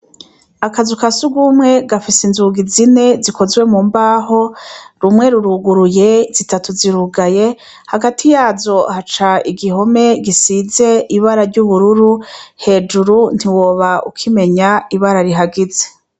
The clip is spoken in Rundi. Akazu ka sugumwe gafise inzugi zine, zikozwe mu mbaho, rumwe ruruguruye zitatu zirugaye, hagati yazo haca igihome gisize ibara ry'ubururu. Hejuru ntiwoba ukimenya ibara rihagize.